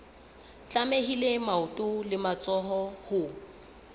tlamehile maoto le matsoho ho